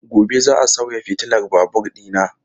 Gobe ​​za a sauya fitilar babur dina.